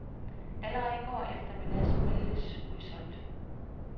Allerede i går eftermiddags meldtes udsolgt.